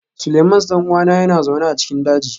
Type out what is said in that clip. Seleimans ɗan'uwan yana zaune a cikin daji